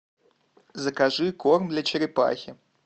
закажи корм для черепахи